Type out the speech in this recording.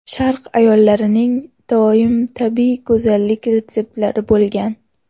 Sharq ayollarining doim tabiiy go‘zallik retseptlari bo‘lgan.